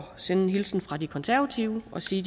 sende en hilsen fra de konservative og sige